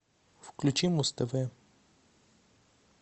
включи муз тв